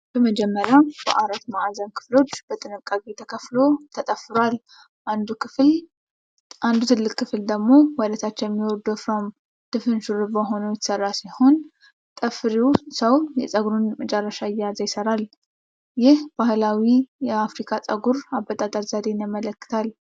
በመጀመሪያ በአራት ማዕዘን ክፍሎች በጥንቃቄ ተከፍሎ ተጠፍሯል። አንዱ ትልቅ ክፍል ደግሞ ወደ ታች የሚወርድ ወፍራም ድፍን ሹሩባ ሆኖ የተሰራ ሲሆን፣ ጠፍሪው ሰው የፀጉሩን መጨረሻ እየያዘ ይሰራል። ይህ ባህላዊ የአፍሪካ የፀጉር አበጣጠር ዘዴን ያመለክታል።